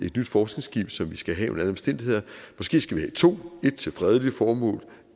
et nyt forskningsskib som vi skal have under alle omstændigheder måske skal vi to et til fredelige formål